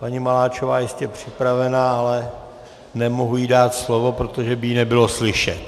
Paní Maláčová je jistě připravena, ale nemohu jí dát slovo, protože by ji nebylo slyšet.